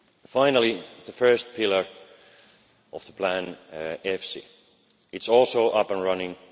Finally, the first pillar of the EFSI plan is also up and running.